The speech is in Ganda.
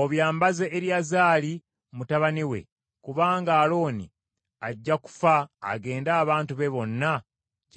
obyambaze Eriyazaali mutabani we, kubanga Alooni ajja kufa agende abantu be bonna gye baalaga.”